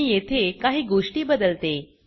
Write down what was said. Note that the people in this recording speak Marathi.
मी येथे काही गोष्टी बदलते